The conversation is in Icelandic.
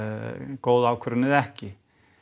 góð ákvörðun eða ekki